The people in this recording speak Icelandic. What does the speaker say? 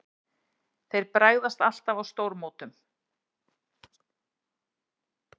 Þeir bara bregðast alltaf á stórmótum.